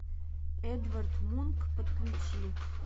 эдвард мунк подключи